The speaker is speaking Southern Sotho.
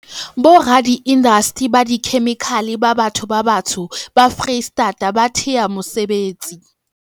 Boradiindasteri ba dikhemikhale ba batho ba batsho ba Freistata ba thea mesebetsi.